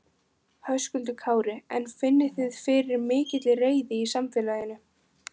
Höskuldur Kári: En finnið þið fyrir mikilli reiði í samfélaginu?